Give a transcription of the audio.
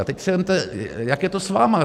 A teď si vezměte, jak je to s vámi.